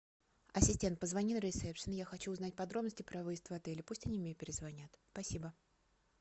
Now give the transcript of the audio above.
ассистент позвони на ресепшн я хочу узнать подробности про выезд в отеле пусть они мне перезвонят спасибо